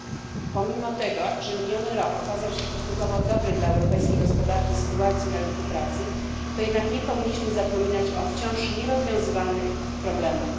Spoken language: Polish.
Panie Przewodniczący! Pomimo tego, że miniony rok okazał się stosunkowo dobry dla europejskiej gospodarki i sytuacji na rynku pracy, to jednak nie powinniśmy zapominać o wciąż nierozwiązywanych problemach.